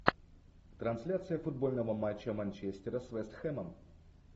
трансляция футбольного матча манчестера с вест хэмом